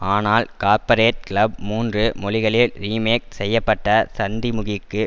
ஆனால் corporate club மூன்று மொழிகளில் ரீமேக் செய்ய பட்ட சந்திமுகிக்கு